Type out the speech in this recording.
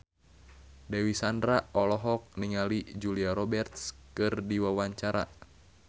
Dewi Sandra olohok ningali Julia Robert keur diwawancara